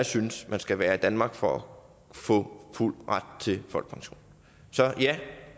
synes man skal være i danmark for at få fuld ret til folkepension så ja